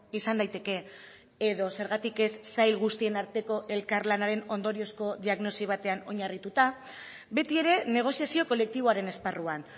izan daiteke edo zergatik ez sail guztien arteko elkarlanaren ondoriozko diagnosi batean oinarrituta beti ere negoziazio kolektiboaren esparruan